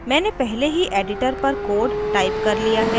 मैंने पहले ही editor पर code टाइप कर लिया है